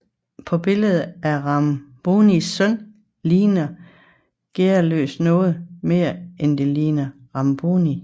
Og billedet af Rambonis søn ligner Gearløs noget mere end det ligner Ramboni